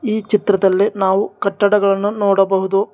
ಈ ಚಿತ್ರದಲ್ಲಿ ನಾವು ಕಟ್ಟಡಗಳನ್ನು ನೋಡಬಹುದು.